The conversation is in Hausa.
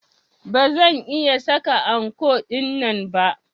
Ba zan iya saka anko dinnan ba.